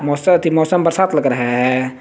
मौसम बरसात लग रहा है।